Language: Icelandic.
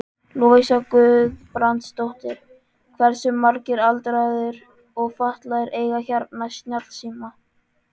Lovísa Guðbrandsdóttir: Hversu margir aldraðir og fatlaðir eiga hérna snjallsíma?